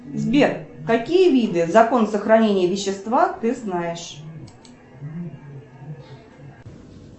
сбер какие виды закон сохранения вещества ты знаешь